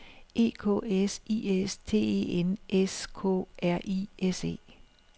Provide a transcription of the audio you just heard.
E K S I S T E N S K R I S E